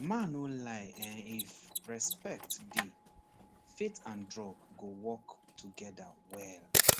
mah no lie ehnif respect dey faith and drug go work together well